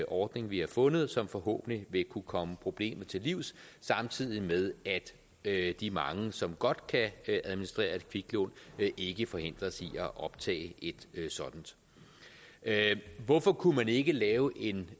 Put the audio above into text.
ordning vi har fundet som forhåbentlig vil kunne komme problemet til livs samtidig med at de mange som godt kan administrere et kviklån ikke forhindres i at optage et sådant hvorfor kunne man ikke lave en